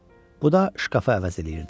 Bu da şkafı əvəz eləyirdi.